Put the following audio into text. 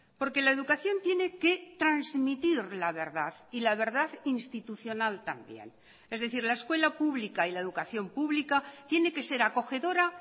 porque la educación tiene que transmitir la verdad y la verdad institucional también es decir la escuela pública y la educación pública tiene que ser acogedora